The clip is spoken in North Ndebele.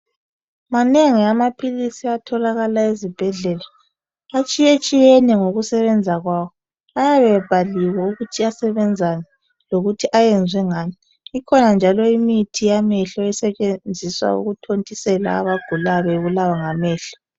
Manengi amaphilisi atholakala ezibhedlela atshiye tshiyene ngokusebenza kwawo ayabe ebhaliwe ukuthi asebenzani lokuthi ayenzwe ngani kukhona njalo imithi yamehlo esetshenziswa ukuthontisela abagulayo bebulawa ngamehlo